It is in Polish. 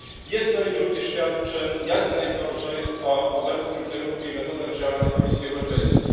Jedno i drugie świadczy jak najgorzej o obecnym kierunku i metodach działania Komisji Europejskiej.